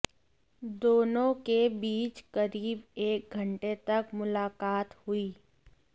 दोनों के बीच करीब एक घंटे तक मुलाक़ात हुई